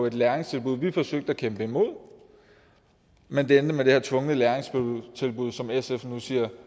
et læringstilbud vi forsøgte at kæmpe imod men det endte med det her tvungne læringstilbud som sf nu siger